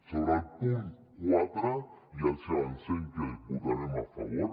sobre el punt quatre ja els avancem que hi votarem a favor